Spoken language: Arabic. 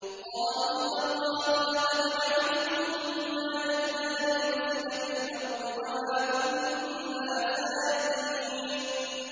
قَالُوا تَاللَّهِ لَقَدْ عَلِمْتُم مَّا جِئْنَا لِنُفْسِدَ فِي الْأَرْضِ وَمَا كُنَّا سَارِقِينَ